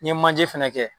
N ye manje fɛnɛ kɛ